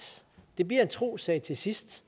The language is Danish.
det bliver en trossag til sidst